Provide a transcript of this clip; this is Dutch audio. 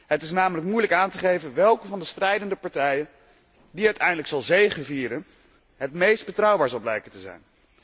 Het is namelijk moeilijk aan te geven welke van de strijdende partijen die uiteindelijk zal zegevieren, het meest betrouwbaar zal blijken te zijn.